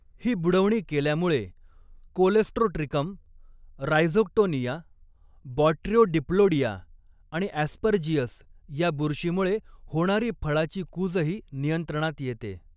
ही बुडवणी केल्यामुळे Colletotrichum, Rhizoctonia, Botryodiplodia आणि ऍस्परजीअस या बुरस्कीमुळे होणारी फळाची कूजही नियंत्रणात येते.